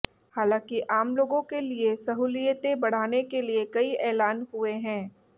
हालांकि आम लोगों के लिए सहूलियतें बढ़ाने के लिए कई ऐलान हुए हैं